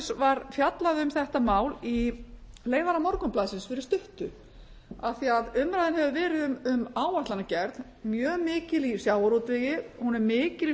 var fjallað um þetta mál í leiðara morgunblaðsins fyrir stuttu af því umræðan hefur verið um áætlanagerð mjög mikil í sjávarútvegi hún er mikil í